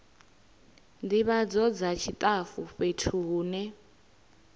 ndivhadzo dza tshitafu fhethu hune